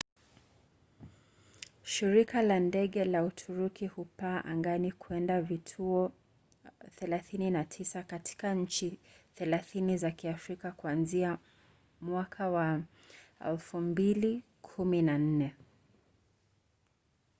shirika la ndege la uturuki hupaa angani kwenda kwa vituo 39 katika nchi 30 za kiafrika kuanzia mwaka wa 2014